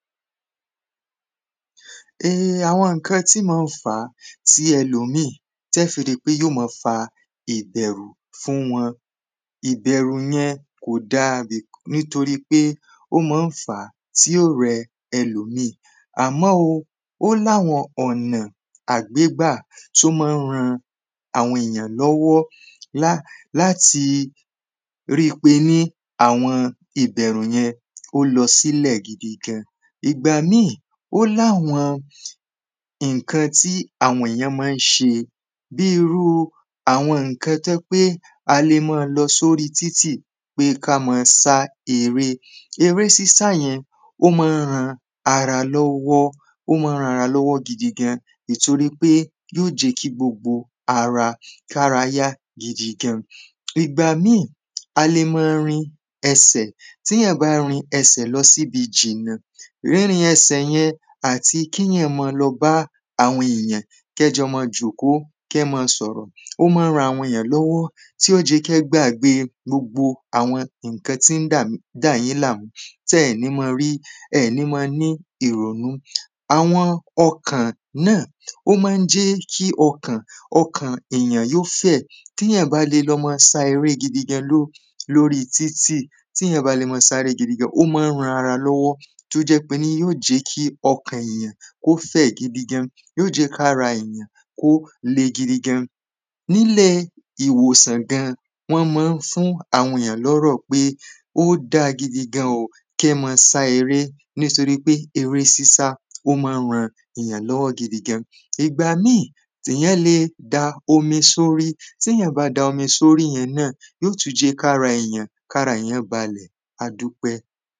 àwọn ǹkan tí ma ń fá tí ẹlòmíì tẹ́ fi ri pé yóò ma fa ìbẹ̀rù fún wọn ìbẹ̀rù yẹn kò da nítorí pé ó má ń fà tí ó rẹ ẹlòmíì àmọ́ o ó ní àwọn ọ̀nà ọ̀nà tó má ń ran àwọn èyàn lọ́wọ́ láti rípiní àwọn ìbẹ̀rù yẹn ó lọ sílẹ̀ gidi gan ìgbà míì ó láwọn iǹkan tí àwọnyàn má ń ṣe bí irú àwọn ǹkan tó yẹ́ pé a le má lọ sorí títì pé ká ma sá eré eré sísá yẹn ó má ń han ara lọ́wọ́ ó má ń ran ara lọ́wọ́ gidi gan ì torí pé yóò jẹ́ kí gbogbo ara kára ya gidi gan ìgbà míì a le ma rin ẹsẹ̀ tíyàn bá rin ẹsẹ̀ lọ síbi jìnà rínrin ẹsẹ̀ yẹn àti kíyàn ma lọ bá àwọn èyàn kẹ́ jọ ma jọ̀kó kẹ́ ma sọ̀rọ̀ ó má ń ran àwọn èyàn lọ́wọ́ tí ó jẹ̀ kẹ́ gbàgbé gbogbo àwọn iǹkan tí ń dáyín làmú tẹ́ẹ̀ ní ma rí ẹ̀ ní ma ní ìrònú àwọn ọkàn náà ó má ń jẹ́ kí ọkàn ọkàn èyán yó fẹ̀ tíyàn bá le lọ ma sá eré gidi gan lóri títì tíyàn bá le ma sá eré gidi gan ó má ń ran ara lọ́wọ́ tó jẹ́ píní yó jẹ́ kí ọkàn èyán kó fẹ̀ gidi gan yóò jẹ́ kára èyàn kó le gidi gan níle ìwòsàn gan wón mọ n fún àwọn èyàn lọ́rọ̀ pé ó da gidi gan kí ẹ ma sá eré nítorí pé eré sísá ó má ran gidi gan ìgbà mí tèyán le da omi sórí tèyán bá da omi sórí yẹn náà yó tu jẹ́ kára èyàn kára èyàn balẹ̀ adúpẹ́